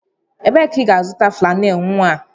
Ebee ka ị ga-azụta flannel nwa?